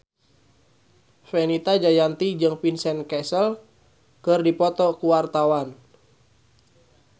Fenita Jayanti jeung Vincent Cassel keur dipoto ku wartawan